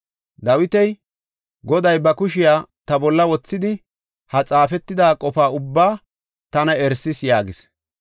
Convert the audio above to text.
Dawiti, “Goday ba kushiya ta bolla wothidi ha xaafetida qofa ubbaa tana erisis” yaagis.